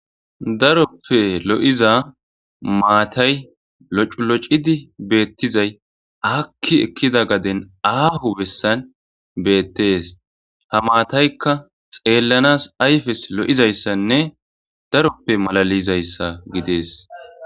Daroppe lo'iza maatay loculocidi beettizay akki ekkida gaden aafu bessan beettees ha maataykka xeellanas ayfes lo'izayssanne daroppe malalizayssa gidees.